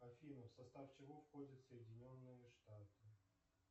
афина в состав чего входят соединенные штаты